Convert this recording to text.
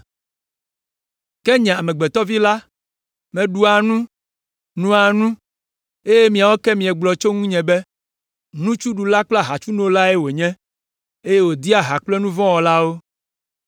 Ke nye Amegbetɔ Vi la, meɖua nu, noa nu, eye miawo ke miegblɔ tso ŋunye be, nutsuɖula kple ahatsunolae wònye, eye wòdea ha kple nu vɔ̃ wɔlawo.